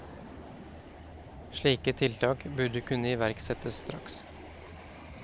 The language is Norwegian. Slike tiltak burde kunne iverksettes straks.